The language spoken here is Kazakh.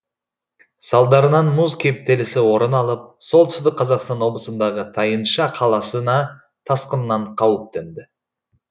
салдарынан мұз кептелісі орын алып солтүстік қазақстан облысындағы тайынша қаласына тасқыннан қауіп төнді